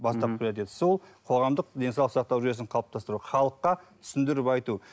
бастапқы приоритеті сол қоғамдық денсаулық сақтау жүйесін қалыптастыру халыққа түсіндіріп айту